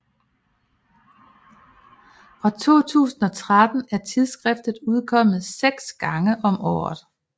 Fra 2013 er tidsskriftet udkommet seks gange om året